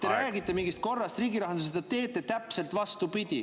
Te räägite mingist korras riigi rahandusest, aga teete täpselt vastupidi.